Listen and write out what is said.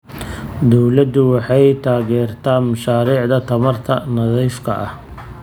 Dawladdu waxay taageertaa mashaariicda tamarta nadiifka ah.